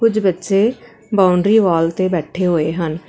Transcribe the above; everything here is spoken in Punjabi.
ਕੁਛ ਬੱਚੇ ਬਾਉਂਡਰੀ ਵਾਲ ਤੇ ਬੈਠੇ ਹੋਏ ਹਨ।